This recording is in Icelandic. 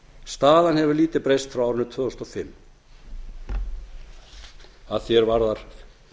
staðan hefur lítið breyst frá árinu tvö þúsund og fimm að var er varðar